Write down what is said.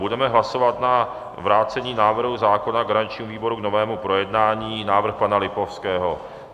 Budeme hlasovat o vrácení návrhu zákona garančnímu výboru k novému projednání - návrh pana Lipavského.